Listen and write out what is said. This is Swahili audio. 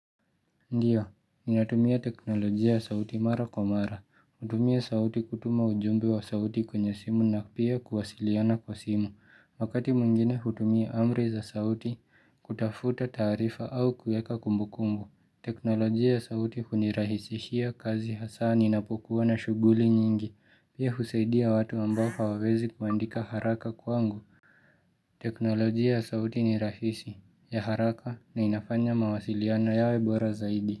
Ndiyo, ninatumia teknolojia ya sauti mara kwa mara, hutumia sauti kutuma ujumbe wa sauti kwenye simu na pia kuwasiliana kwa simu, wakati mwingine hutumia amri za sauti kutafuta taarifa au kueka kumbukumbu. Teknolojia ya sauti hunirahisishia kazi hasaa ninapokuwa na shuguli nyingi, pia husaidia watu ambao hawawezi kuandika haraka kwangu. Teknolojia ya sauti ni rahisi ya haraka na inafanya mawasiliana yawe bora zaidi.